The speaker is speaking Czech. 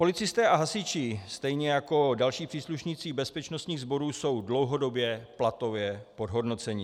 Policisté a hasiči stejně jako další příslušníci bezpečnostních sborů jsou dlouhodobě platově podhodnoceni.